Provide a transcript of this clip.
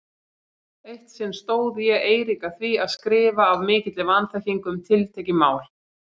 Eitt sinn stóð ég Eirík að því að skrifa af mikilli vanþekkingu um tiltekið mál.